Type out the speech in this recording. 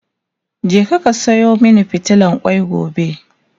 je ka Sayo min fitilan kwai gobe!